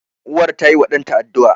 Uwar tayiwa ɗanta addu'a.